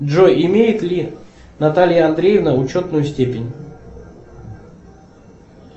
джой имеет ли наталья андреевна ученую степень